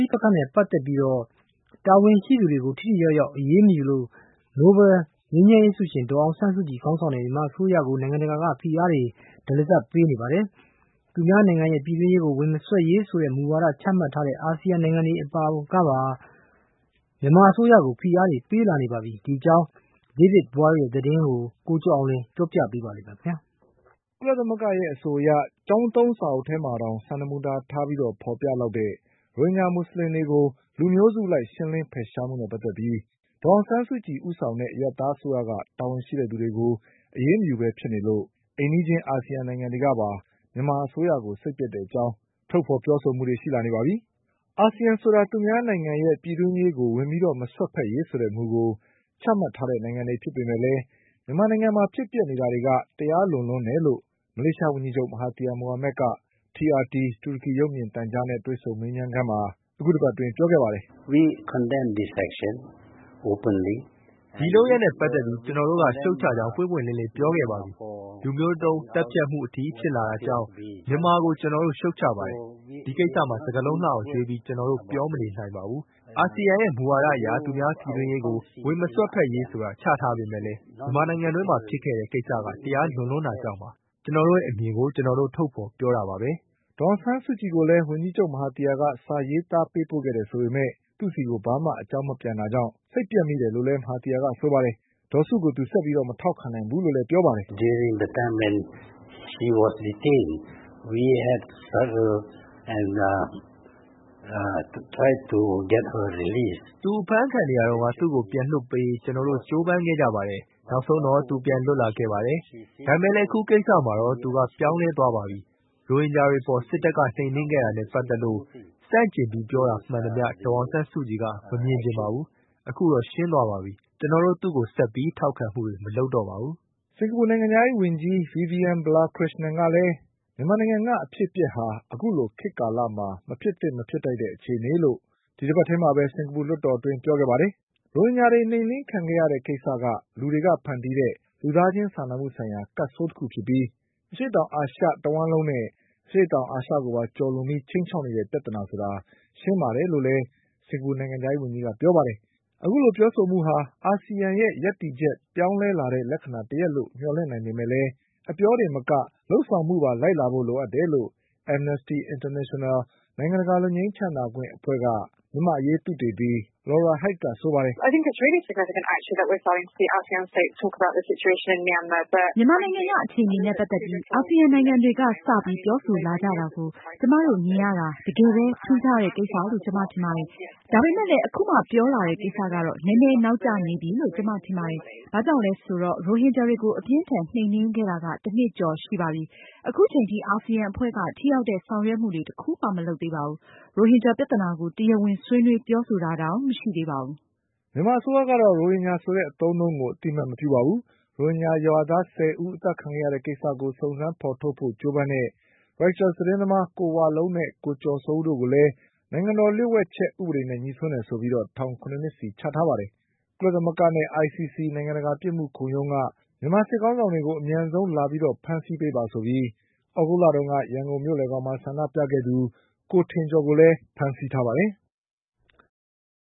ိပက္ခနဲ့ပတ်သက်ပြီး တာဝန်ရှိသူတွေကို ထိထိရောက်ရောက်အရေးမယူလို့ ငြိမ်းချမ်းရေးနိုဘလ် ဆုရှင် ဒေါ် အောင်ဆန်းစုကြည်ခေါင်းဆောင်တဲ့ မြန်မာအစိုးရကိုနိုင်ငံတကာက ဖိအားတွေ တရစပ်ပေးနေ ပါတယ်။ သူများနိုင်ငံရဲ့ ပြည်တွင်းရေးကို ဝင်မစွက်ဖက်ရေးဆိုတဲ့ မူကိုချမှတ်ထားတဲ့ အာစီယံနိုင်ငံတွေကပါ မြန်မာအစိုးရကိုဖိအားပေးလာနေပါပြီ။ ဒီအကြောင်း David Boyle ရဲ့သတင်းကို ကိုကျော်အောင်လွင် တင်ပြပေးထားပါတယ်။ ကုလသမဂ္ဂရဲ့အဆိုအရ ကျောင်းသုံးစာအုပ်ထဲမှာတောင် စံနမူနာထားပြီးဖေါ်ပြလောက်တဲ့ ရိုဟင်ဂျာ မူဆလင်တွေကို လူ မျိုးစုအလိုက် ရှင်းလင်းဖယ်ရှားမှုနဲ့ပတ်သက်ပြီး ဒေါ်အောင်ဆန်းစုကြည် ဦးဆောင်တဲ့ အရပ်သားအစိုးရက တာဝန်ရှိသူ တွေကို အရေးမယူပဲဖြစ်နေလို့ အိမ်နီးချင်း အာဆီယံနိုင်ငံတွေကပါ မြန်မာအစိုးရကို စိတ်ပျက်တဲ့အကြောင်းထုတ်ပြောလာ နေကြပါပြီ။ အာဆီယံဆိုတာက သူများနိုင်ငံရဲ့ ပြည်တွင်းရေးကို ဝင်ပြီးမစွက်ဖက်ရေးဆိုတဲ့မူကိုချမှတ်ထားတဲ့ နိုင်ငံတွေဖြစ်ပေမဲ့လည်း မြန်မာနိုင်ငံမှာ ဖြစ်နေတာတွေက တရားလွန်လွန်းတယ်လို့ မလေးရှား ဝန်ကြီးချုပ် မဟာသီယာ မိုဟာမက်က TRT တူရကီရုပ်မြင်သံကြားနဲ့ တွေ့ဆုံမေးမြန်းခန်မှာ အခုတပတ်အတွင်း ပြောခဲ့ပါတယ်။ “ဒီလုပ်ရပ်နဲ့ပတ်သက်ပြီး ကျနော်တို့က ရှုတ်ချကြောင်း ပွင့်ပွင့်လင်းလင်းပြောခဲ့ပါပြီ။ လူမျိုးတုန်း သတ်ဖြတ်မှု အထိ ဖြစ်လာ တာကြောင့် မြန်မာကိုကျနော်တို့က ရှုတ်ချပါတယ်။ ဒီကိစ္စမှာ စကားလုံး လှအောင်ရွေးပြီး ကျနော်တို့ပြောမနေနိုင်ပါဘူး။ အာဆီယံရဲ့မူဝါဒအရ သူများပြည်တွင်းရေးကို ဝင်မစွက်ဘက်ရေးဆိုတာ ချထားပေမဲ့လည်း မြန်မာနိုင်ငံအတွင်းမှာဖြစ်ခဲ့တဲ့ ကိစ္စက တရားလွန်လွန်း တာကြောင့်ပါ။ ကျနော်တို့ရဲ့အမြင်ကို ကျနော်တို့ထုတ်ပြောတာပါပဲ။” ဒေါ်အောင်ဆန်းစုကြည်ကိုလည်း ဝန်ကြီးချုပ်မဟာသီယာက စာရေးသားပေးပို့ခဲ့တယ်ဆိုပေမဲ့ သူ့ဆီကို ဘာမှ အကြောင်း မပြန်တာကြောင့် စိတ်ပျက်မိတယ်လို့လည်း မဟာသီယာကဆိုပါတယ်။ ဒေါ်စုကို သူဆက်ပြီး မထောက်ခံတော့ဘူးလို့လည်း ပြောပါတယ်။ “သူအဖမ်းခံနေရတုန်းက သူကိုပြန်လွှတ်ပေးရေး ကျနော်တို့ကြိုးပမ်းခဲ့ကြပါတယ်။ နောက်ဆုံးတော့ သူပြန်လွတ် လာခဲ့ပါတယ်။ ဒါပေမဲ့လည်း အခုကိစ္စမှာတော့ သူကပြောင်းလဲသွားပါပြီ။ ရိုဟင်ဂျာတွေအပေါ်စစ်တပ်က နှိမ်နင်းခဲ့တာနဲ့ပတ် သက်လို့ ဆန့်ကျင်ပြီးပြောတာမှန်သမျှ ဒေါ်အောင်ဆန်းစုကြည်က မမြင်ချင်ပါဘူး။ အခုတော့ ရှင်းသွားပါပြီ။ ကျနော်တို့ သူ့ကိုဆက်ပြီး ထောက်ခံမှုတွေ မလုပ်တော့ပါဘူး။” စင်္ကာပူနိုင်ငံခြားရေးဝန်ကြီး Vivian Balakrishnan ကလည်း မြန်မာနိုင်ငံကအဖြစ်အပျက်ဟာ အခုလို ခေတ်ကာလမှာ မဖြစ်သင့်မဖြစ်ထိုက်တဲ့အခြေအနေလို့ ဒီတပတ်ထဲမှာပဲ စင်္ကာပူလွှတ်တော်မှာ ပြောခဲ့ပါတယ်။ ရိုဟင်ဂျာတွေနှိမ်နင်းခံခဲ့ ရတဲ့ကိစ္စက လူတွေကဖန်တီးတဲ့ လူသားချင်းစာနာမှုဆိုင်ရာကပ်ဆိုးတခုဖြစ်ပြီး အရှေ့တောင်အာရှတဝှမ်းလုံးနဲ့ အရှေ့ တောင်အာရှကိုပါ ကျော်လွန်ပြီး ခြိမ်းခြောက်နေတဲ့ပြဿနာဆိုတာ ရှင်းပါတယ်လို့လည်း စင်္ကာပူနိုင်ငံခြားရေးဝန်ကြီးက ပြောပါတယ်။ အခုလိုပြောဆိုမှုဟာ အာဆီယံရဲ့ရပ်တည်ချက်ပြောင်းလဲလာတဲ့လက္ခဏာတရပ်လို့ မျှော်လင့်နိုင်ပေ မဲ့လည်း အပြောတင်မက လုပ်ဆောင်မှုပါလိုက်လာဖို့လိုအပ်တယ်လို့ Amnesty International နိုင်ငံတကာလွတ်ငြိမ်း ချမ်းသာခွင့်အဖွဲ့က မြန်မာ့ အရေးသုတေသီ Laura Haigh ကပြောပါတယ်။ “မြန်မာနိုင်ငံကအခြေအနေနဲ့ပတ်သက်ပြီးအာစီယံနိုင်ငံတွေက စပြီးပြောဆိုလာကြတာကို ကျမတို့မြင်ရတာ တကယ်ပဲ ထူးခြားတဲ့ကိစ္စလို့ ကျမထင်ပါတယ်။ ဒါပေမဲ့လည်း အခုမှပြောလာတဲ့ကိစ္စကတော့ နည်းနည်း နောက်ကျနေပြီလို့ ကျမထင် ပါတယ်။ ဘာကြောင့်လဲဆိုတော့ ရိုဟင်ဂျာတွေကိုအပြင်းအထန်နှိမ်နင်းခဲ့တာက တနှစ်ကျော်ရှိပါပြီ။ အခုချိန်ထိ အာစီယံ အဖွဲ့က ထိရောက်တဲ့ဆောင်ရွက်မှုတွေတခုမှ မလုပ်သေးပါဘူး။ ရိုဟင်ဂျာပြဿနာကို တရားဝင်ဆွေးနွေးပြောဆိုတာ တောင်မရှိသေးပါဘူး။” မြန်မာအစိုးရကတော့ ရိုဟင်ဂျာဆိုတဲ့အသုံးအနှုန်းကို အသိအမှတ်မပြုပါဘူး။ ရိုဟင်ဂျာရွာသား ဆယ်ဦး အသတ်ခံခဲ့ရတဲ့ ကိစ္စကို စုံစမ်းဖေါ်ထုတ်ဖို့ကြိုးပမ်းတဲ့ Reuters သတင်းသမား ကိုဝလုံးနဲ့ ကိုကျော်စိုးဦး တို့ကိုလည်း နိုင်ငံတော်လျှို့ဝှက်ချက် ဥပဒေနဲ့ငြိစွန်းလို့ဆိုပြီး ထောင် ၇ နှစ်စီချထား ပါတယ်။ ကုလသမဂ္ဂနဲ့ ICC နိုင်ငံတကာပြစ်မှုခုံရုံးက မြန်မာစစ်ခေါင်းဆောင် တွေကို အမြန်ဆုံးလာဖမ်းဆီးပေးပါဆိုပြီး သြဂုတ်လက ရန်ကုန်မြို့လည်ခေါင်မှာ ဆန္ဒြုပခဲ့သူ ကိုထင်ကျော်ကိုလည်း ဖမ်းဆီး ထားပါတယ်။